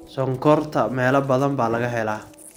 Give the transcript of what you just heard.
Sonkorta meelo badan baa laga helaa.